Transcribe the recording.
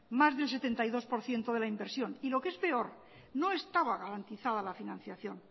más del setenta y dos por ciento de la inversión y lo que es peor no estaba garantizada la financiación